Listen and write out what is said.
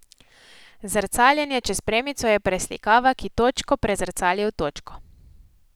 Zrcaljenje čez premico je preslikava, ki točko prezrcali v točko.